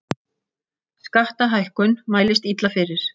Skattahækkun mælist illa fyrir